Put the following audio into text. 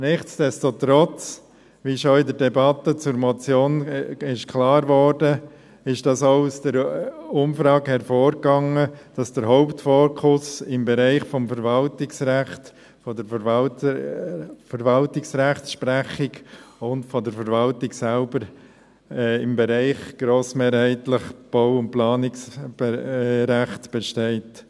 Nichtsdestotrotz, wie in der Debatte zur Motion klar wurde, ging aus der Umfrage hervor, dass der Hauptfokus im Bereich des Verwaltungsrechts, der Verwaltungsrechtssprechung und der Verwaltung selbst grossmehrheitlich auf dem Bereich Bau- und Planungsrecht liegt.